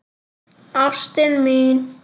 Ástin mín!